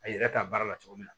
A yɛrɛ t'a baara la cogo min na